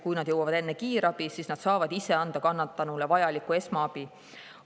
Kui nad jõuavad enne kiirabi, siis nad saavad ise anda kannatanule vajalikku esmaabi.